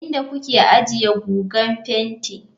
Inda kuke ajiye guga fenti.